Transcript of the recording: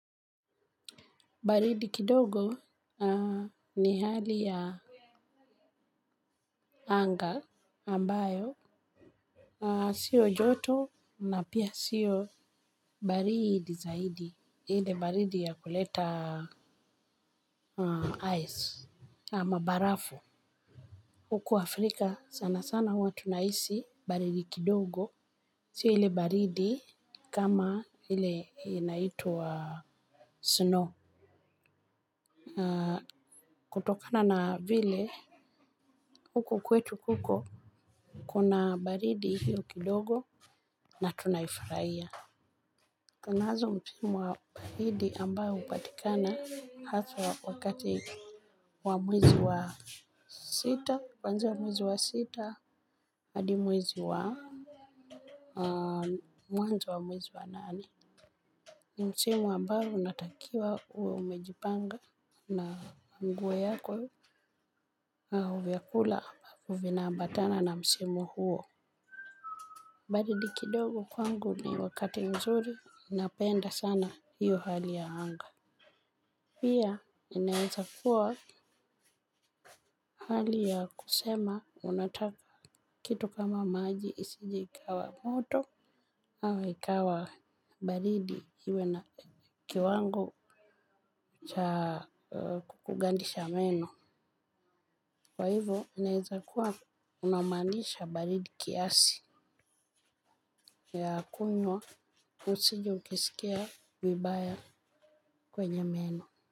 Baridi kidogo ni hali ya anga ambayo sio joto na pia sio baridi zaidi ile baridi ya kuleta Ice ama barafu. Huku Afrika sana sana huwa tunahisi baridi kidogo. Sio hile baridi kama hile inaitwa snow. Kutokana na vile, huko kwetu kuko, kuna baridi hiyo kidogo na tunai furahia. Tunazo msimu wa baridi ambao hupatikana haswa wa kati wa mwezi wa sita. Kuanzia mwezi wa sita, adi mwezi wa mwanzo wa mwezi wa nane msimu ambao unatakiwa uwe umejipanga na nguo yako na vyakula vina ambatana na msimu huo. Baridi kidogo kwangu ni wakati mzuri. Inapenda sana hiyo hali ya anga. Pia inaeza kuwa hali ya kusema. Unataka kitu kama maji isije ikawa moto au ikawa baridi iwe na kiwango cha kugandisha meno. Kwa hivyo inaweza kuwa una maanisha baridi kiasi ya kunywa usije kusikia vibaya kwenye meno.